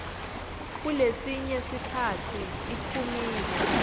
kulesinye sikhatsi iphumile